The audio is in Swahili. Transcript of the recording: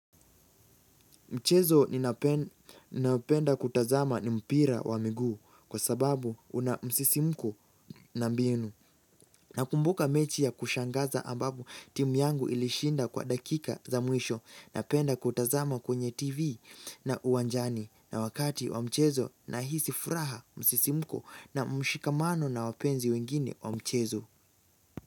Mchezo ninaopenda kutazama ni mpira wa miguu kwa sababu una msisimuko na mbinu. Nakumbuka mechi ya kushangaza ambapo timu yangu ilishinda kwa dakika za mwisho napenda kutazama kwenye tv na uwanjani na wakati wa mchezo nahisi furaha msisimko na mshikamano na wapenzi wengine wa mchezo.